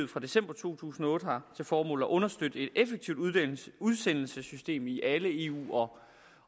fra december to tusind og otte har til formål at understøtte et effektivt udsendelsessystem i alle eu